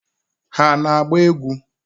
Ha ana-agba egwu?